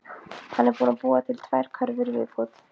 Hann er búinn að búa til tvær körfur í viðbót.